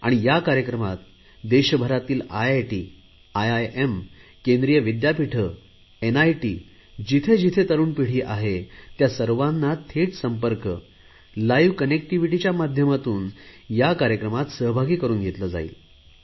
आणि या कार्यक्रमात देशभरातील आयआयटी आयआयएम केंद्रीय विद्यापीठ एनआयटी जिथे जिथे तरुण पिढी आहे त्या सर्वांना थेट संपर्क लाइव्ह कनेक्टीव्हीटीच्या माध्यमातून या कार्यक्रमात सहभागी करुन घेतले जाईल